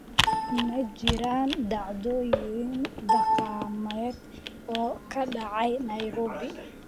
Ma jiraan dhacdooyin dhaqameed oo ka dhacaya Nairobi?